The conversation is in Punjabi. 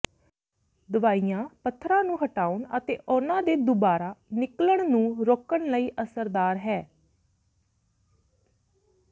ਦਵਾਈਆਂ ਪੱਥਰਾਂ ਨੂੰ ਹਟਾਉਣ ਅਤੇ ਉਹਨਾਂ ਦੇ ਦੁਬਾਰਾ ਨਿਕਲਣ ਨੂੰ ਰੋਕਣ ਲਈ ਅਸਰਦਾਰ ਹੈ